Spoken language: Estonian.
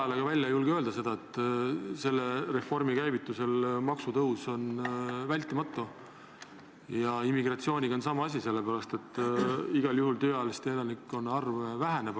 Ega te kõva häälega ei julge välja öelda, et selle reformi käivitumisel on maksutõus vältimatu ja immigratsiooniga on sama asi, sellepärast et tööealiste elanike arv igal juhul väheneb.